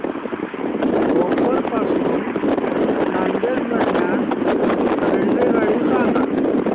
भोकर पासून नांदेड दरम्यान रेल्वेगाडी सांगा